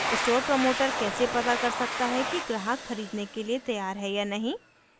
store promoter कैसे पता कर सकता है कि ग्राहक खरीदने के लिए तैयार है या नहीं